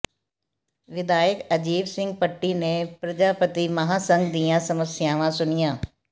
ਵਿਧਾਇਕ ਅਜਾਇਬ ਸਿੰਘ ਭੱਟੀ ਨੇ ਪਰਜਾਪਤੀ ਮਹਾਂਸੰਘ ਦੀਆਂ ਸਮੱਸਿਆਵਾਂ ਸੁਣੀਆਂ